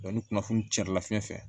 ni kunnafoni cɛrɛ la fiɲɛ fɛ